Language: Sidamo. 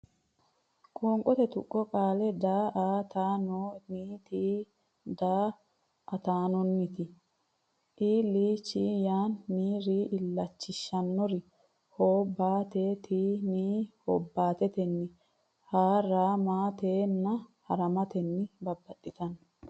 Qoonqote Tuqqo Qaale daa a taa non ni ti daa ataanonniti il chin shan ni ri illachinshanniri hob baa te ten ni hobbaatetenni ha ra ma ten na hara matenna Babbaxxitino.